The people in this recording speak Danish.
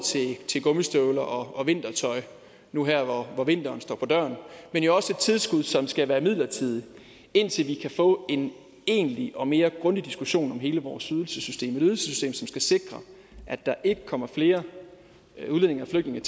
til gummistøvler og vintertøj nu her hvor vinteren står for døren men jo også et tilskud som skal være midlertidigt indtil vi kan få en egentlig og mere grundig diskussion om hele vores ydelsessystem et ydelsessystem som skal sikre at der ikke kommer flere udlændinge og flygtninge